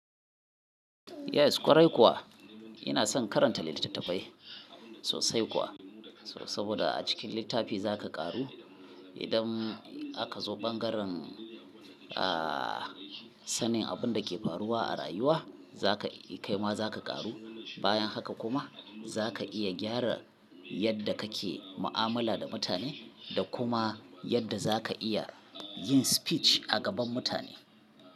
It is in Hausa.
Yes ƙwarai kuwa ina son karanta littattafai sosai kuwa. So saboda a cikin littafi za ka ƙaru idan aka zo ɓangaren, aa sanin abin da ke faruwa a rayuwa, za ka kaima za ka ƙaru. Bayan haka kuma za ka iya gyara yadda kake mu'amala da mutane da kuma yadda za ka iya yin speech a gaban mutane.